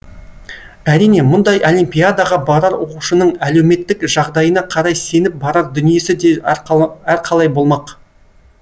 әрине мұндай олимпиадаға барар оқушының әлеуметтік жағдайына қарай сеніп барар дүниесі де әрқалай болмақ